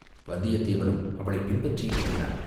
வந்தியத்தேவனும் அவளைப் பின்பற்றி இறங்கினான்.